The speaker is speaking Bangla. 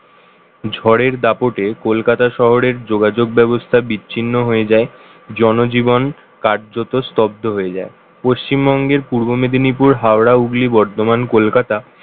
ঝড়ের দাপটে কলকাতা শহরের যোগাযোগ ব্যবস্থা বিচ্ছিন্ন হয়ে যায় জনজীবন কারযত স্তব্ধ হয়ে যায় পশ্চিমবঙ্গের পূর্ব মেদিনীপুর হাওড়া হুগলি বর্ধমান কলকাতা